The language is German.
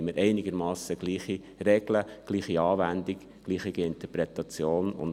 Dann haben wir einigermassen gleiche Regeln, gleiche Anwendungen sowie gleiche Interpretationen.